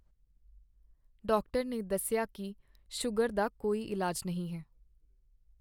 Doctor ਨੇ ਮੈਨੂੰ ਦੱਸਿਆ ਕੀ ਸ਼ੂਗਰ ਦਾ ਕੋਈ ਇਲਾਜ ਨਹੀਂ ਹੈ।